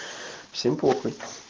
всем похуй